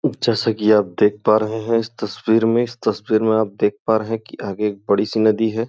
जैसा कि आप देख पा रहे हैं इस तस्वीर में इस तस्वीर में आप देख पा रहे हैं कि आगे एक बड़ी सी नदी है।